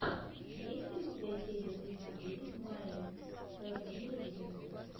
есть ли у тебя серия тридцать девять майи рождение легенды